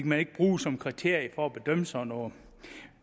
man ikke bruge som kriterium for at bedømme sådan noget